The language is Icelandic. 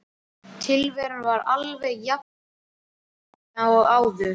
Tilveran var alveg jafnömurleg og áður.